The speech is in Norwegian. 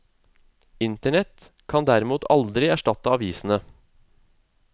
Internett kan derimot aldri erstatte avisene.